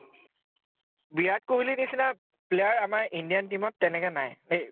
বিৰাট কোহলি নিচিনা player আমাৰ indian team ত তেনেকে নাই দেই